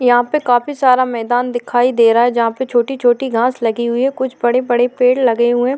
यहा पे काफी सारा मैदान दिखाई दे रहा है जहा पे छोटी छोटी घास लगी हुई है कुछ बड़े बड़े पेड़ लगे हुए --